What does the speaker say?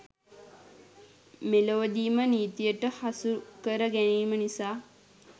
මෙලොවදීම නීතියට හසුකර ගැනීම නිසා